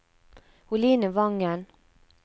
Oline Wangen